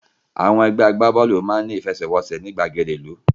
Àwọn ẹgbẹ́ agbábọ́ọ̀lù ìlú máa ní ìfẹsẹ̀wọ́nsẹ̀ ní ìgbàgede ìlú